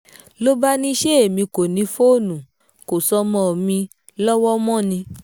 ló bá ní ṣe èmi kò ní fóònù kọ́sọ́mọ́ mi lọ́wọ́ mọ́ ni